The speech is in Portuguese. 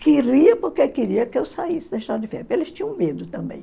Queria porque queria que eu saísse da estrada de ferro, porque eles tinham medo também.